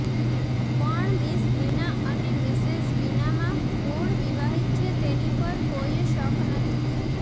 પણ મિસ લીના અને મિસેજ બીનામાં કોણ વિવાહિત છે તેની પર કોએ શક નથી